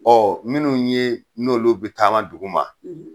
minnu ye n'olu be taama duguma